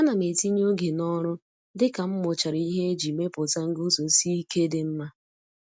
Ana m etinye oge n'ọrụ dị ka m mụchara ihe iji mepụta nguzosi ike dị mma.